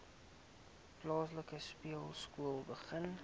plaaslike speelskool begin